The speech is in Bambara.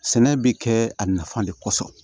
Sɛnɛ bɛ kɛ a nafa de kosɔn